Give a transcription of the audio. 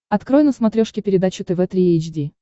открой на смотрешке передачу тв три эйч ди